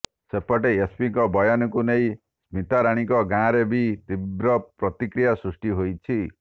ସେପଟେ ଏସପିଙ୍କ ବୟାନକୁ ନେଇ ସ୍ମିତାରାଣୀଙ୍କ ଗାଁରେ ବି ତୀବ୍ର ପ୍ରତିକ୍ରିୟା ସୃଷ୍ଟି ହୋଇଛି